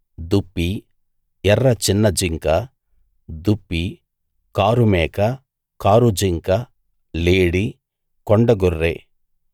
దుప్పి ఎర్ర చిన్న జింక దుప్పి కారు మేక కారు జింక లేడి కొండ గొర్రె